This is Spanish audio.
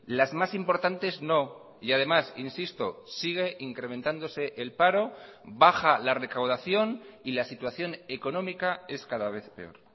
las más importantes no y además insisto sigue incrementándose el paro baja la recaudación y la situación económica es cada vez peor